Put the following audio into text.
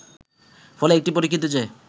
ফলে এটি পরীক্ষিত যে